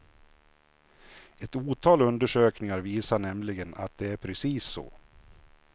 Ett otal undersökningar visar nämligen att det är precis så.